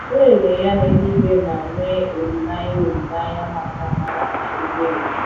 Lelee Ya n’Eluigwe ma nwee olileanya olileanya maka amara na ebere…